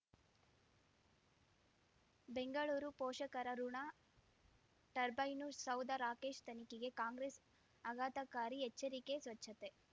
ಬೆಂಗಳೂರು ಪೋಷಕರಋಣ ಟರ್ಬೈನು ಸೌಧ ರಾಕೇಶ್ ತನಿಖೆಗೆ ಕಾಂಗ್ರೆಸ್ ಆಘಾತಕಾರಿ ಎಚ್ಚರಿಕೆ ಸ್ವಚ್ಛತೆ